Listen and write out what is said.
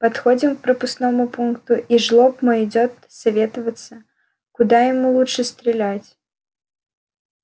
подходим к пропускному пункту и жлоб мой идёт советоваться куда ему лучше стрелять